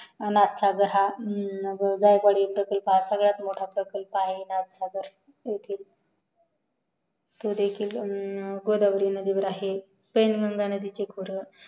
जायकवडी हा प्रकल्प सर्वात मोठा प्रकल्प आहे. उल्हासनगर येथील तो देखील गोदावरी नदीवर आहे वैंनगंगा नदीचे खोरं